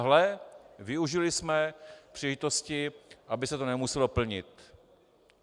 Hle, využili jsme příležitosti, aby se to nemuselo plnit.